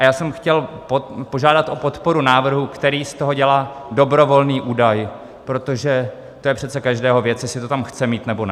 A já jsem chtěl požádat o podporu návrhu, který z toho dělá dobrovolný údaj, protože to je přece každého věc, jestli to tam chce mít, nebo ne.